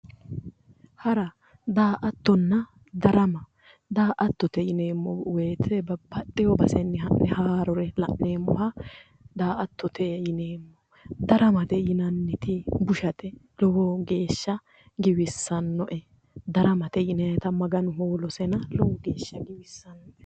Hara daa"attonna darama daa"attote yineemmo woyte babbaxxeyo basenni ha'ne haarore la'neemmoha daa"attote yineemmo daramate yineemmohu bushate lowo geeshsha giwissannoe daramate yinayta maganu hoolosena lowo geeshsha giwissanno